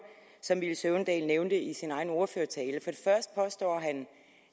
som herre villy søvndal nævnte i sin egen ordførertale først påstår han